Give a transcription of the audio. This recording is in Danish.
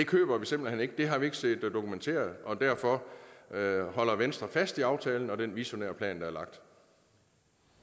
køber vi simpelt hen ikke det har vi ikke set dokumenteret og derfor holder venstre fast i aftalen og den visionære plan